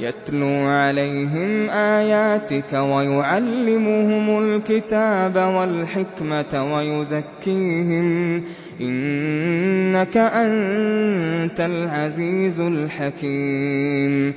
يَتْلُو عَلَيْهِمْ آيَاتِكَ وَيُعَلِّمُهُمُ الْكِتَابَ وَالْحِكْمَةَ وَيُزَكِّيهِمْ ۚ إِنَّكَ أَنتَ الْعَزِيزُ الْحَكِيمُ